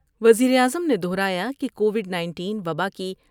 وزیراعظم نے دو ہرایا کہ کووڈ نائنٹین وبا کی